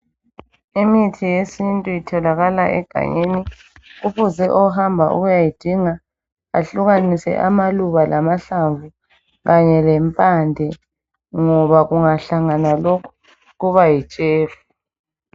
Imithi yesintu itholakala egangeni kufuze ohamba ukuyayidinga ahlukanise amaluba lamahlamvu kanye lempande ngoba kungahlangana lokhu kuba yitshefu